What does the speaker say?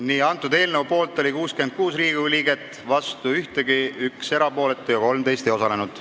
Hääletustulemused Poolt oli 66 Riigikogu liiget, vastu ei olnud keegi, 1 jäi erapooletuks ja 13 ei osalenud.